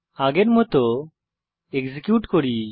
আগের মত এক্সিকিউট করি